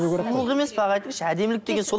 сұлулық емес пе аға айтыңызшы әдемілік деген сол